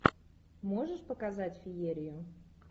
можешь показать феерию